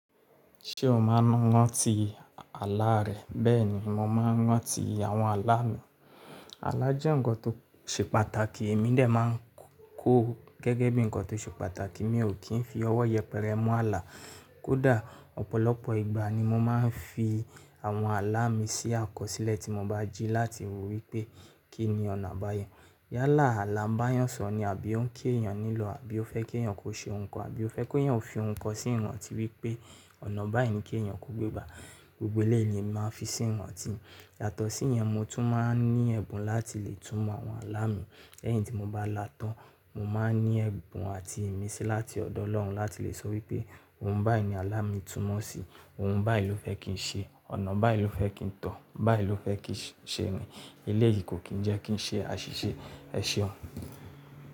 Ṣé o máa ń ranti àlá rẹ? Bẹ́ẹ̀ ni mo máa ń ranti àwọn àlá mi. Àlá jẹ́ nǹkan tó ṣe pàtàkì, èmi dè máa ń kó gẹ́gẹ́ bí nǹkan tó ṣe pàtàkì, mi ò kí ń fi ọwọ́ yẹpẹrẹ mú àlá. Kódà ọ̀pọ̀lọpọ̀ ìgbà ni mo máa ń fi àwọn àlá mi sí àkọsílẹ̀ tí mo bá jí láti wí pé kí ni ọ̀nà àbáyọ. Yálà, àlá ìbányàn su ni àbí ó ń kí èèyàn nílò, àbí ó fẹ́ kí èèyàn kó ṣe nǹkan, àbí ó fẹ́ ki èèyàn fi nǹkan sí oun atí wípé ọ̀nà báyìí ni kí èèyàn kó gbé gbà. Gbogbo eléyìí ni emi máa ń fi sí iranti mí. Yàtọ̀ sí ìyẹn mo tún máa ń ní ẹ̀bùn láti le tumọ̀ àwọn àlá mi. Lẹ́yìn tí mo bá là á tán, mo máa ń ní ẹ̀bùn àti ìmísí láti ọ̀dọ̀ Ọlọ́run láti le sọ wípé ohun báyìí ni àlá mi túnmọ̀ sí i, ohun báyìí ló fẹ́ kí ń ṣe, ọ̀nà báyìí ló fẹ́ kí ń tọ̀, báyìí ló fẹ́ kí ń ṣe ni, eléyìí kò kín ń jẹ́ kí ń ṣe àṣìṣe. Ẹ ṣeun.